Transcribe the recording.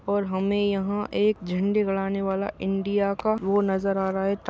और हमे यहाँ एक झंडे गाड़ने वाला इंडिया का वो नजर आ रहा है।